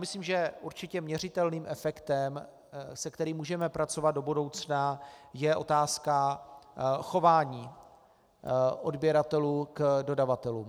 Myslím, že určitě měřitelným efektem, se kterým můžeme pracovat do budoucna, je otázka chování odběratelů k dodavatelům.